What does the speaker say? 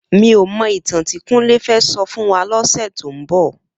Mi ó mò itàn ti Kunle fè sò fún wà lòsè tó n bò